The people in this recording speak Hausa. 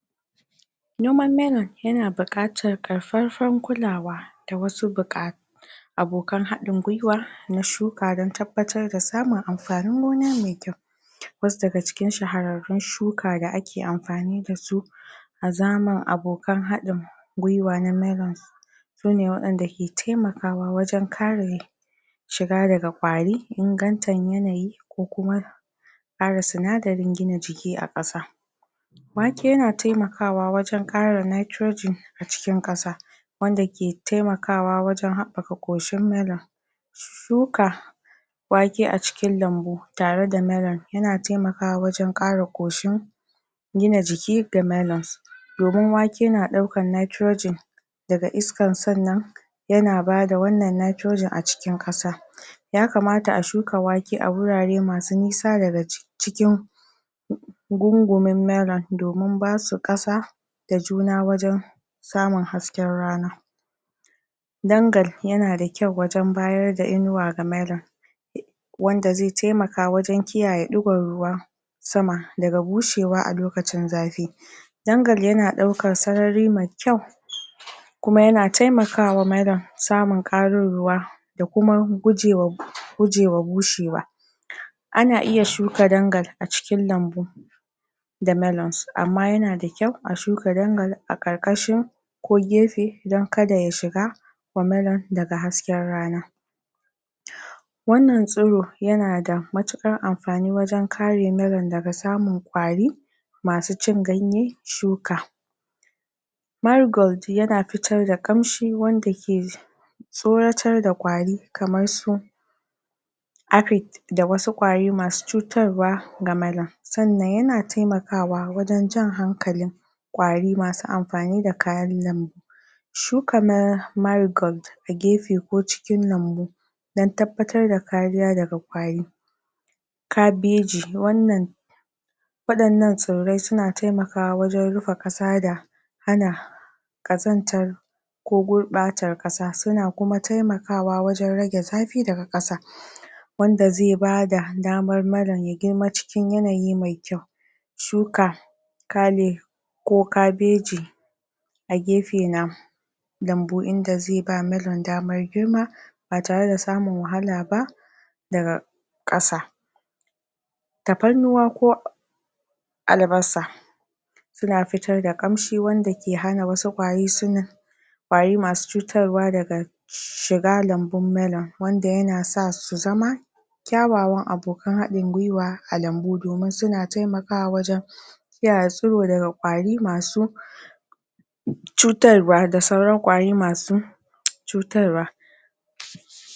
Noman melon yana buƙatar karfarfan kulawa da wasu buƙa abokan haɗin gwiwa na shuka dan tabbatar da samun amfanin gona mai ƙyau, wasu daga cikin shahararrun shuka da ake amfani dasu a zaman abokan haɗin gwiwa na melon sune waɗanda ke taimakawa wajan kare shiga daga ƙwari, ingantan yanayi, ko kuma kara sinadarin gina jiki a ƙasa. Wake yana taimakawa wajan ƙara nitrogen a cikin ƙasa wanda ke taimakawa wajan habbaka ƙoshin melon. Shuka wake a cikin lambu tarada melon yana taimakawa wajan ƙara ƙoshin gina jiki ga melons. Domin wake na ɗaukan nitrogen daga iskan sannan yana bada wannan nitrogen a cikin ƙasa. Ya kamata a shuka wake a wurare masu nisa daga cikin gungumin melon domin basu ƙasa da juna wajan samun hasken rana. Dangal yana da ƙyau wajan bayarda inuwa ga melon wanda ze taimaka wajan kiyaye ɗigon ruwa sama daga bushewa a lokacin zafi. Dangal yana aukar sarari mai ƙyau kuma yana taimakawa melon samun ƙarin ruwa da kuma gujewa gujewar rushewa. Ana iya shuka dangal a cikin lambu da melons amma yana da ƙyau a shuka dangal a karƙashin ko gefe dan kada ya shiga wa melon daga hasken rana wannan tsuro yana da matuƙar amfani wajan kare melon daga samun ƙwari masu cin ganye, shuka. Marigold yana fitar da ƙamshi wanda ke tsoratar da kwari kamar su aphid da wasu ƙwari masu cutarwa ga melon. Sannan yana taimakawa wajan jan hankalin ƙwari masu amfani da kayan lambu. Shuka ma marigold a gefe ko cikin lambu dan tabbatar da kariya daga ƙwari. Kabeji wannan wadannan tsirrai suna taimakawa wajan rufe kasa da ana kazantar ko gurɓatar kasa, suna kuma taimakawa wajan rage zafi daga ƙasa wanda ze bada damar melon ya girma cikin yanayi mai ƙyau. Shuka ko kabeji a gefe na lambu inda ze ba melon damar girma ba tarada samun wahala ba daga ƙasa. Taparnuwa ko albasa suna fitar da ƙamshi wanda ke hana wasu ƙwari suna ƙwari masu cutarwa daga shiga lambun melon wanda yana sa su su zama ƙyawawan abokan haɗin gwiwa a lambu domin suna taimakawa wajan kiyya tsiro daga ƙwari masu cutarwa da sauran ƙwari masu cutarwa.